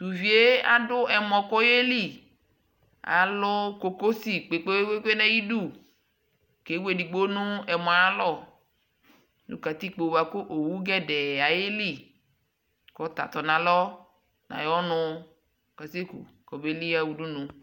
tʋviɛ adʋ ɛmɔ kʋ ɔyɛli, alʋ kɔkɔsi kpekpekpe ku ɔyɛli kʋ ɛwʋ ɛdigbɔ nʋ ɛmɔ ayi alɔ nʋ katikpɔ bʋakʋ ɔwʋ gɛdɛɛ ayiɛli kʋ ɔta tɔnʋ alɔ nʋ ayiɔnʋ kʋ azɛ kʋ kɔbɛli ha ʋdʋnʋ